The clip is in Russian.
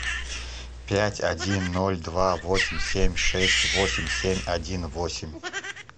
пять один ноль два восемь семь шесть восемь семь один восемь